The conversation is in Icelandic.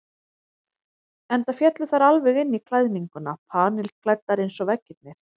Enda féllu þær alveg inn í klæðninguna, panilklæddar eins og veggirnir.